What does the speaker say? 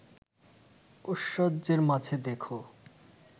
ঐশ্বর্যের মাঝে দেখ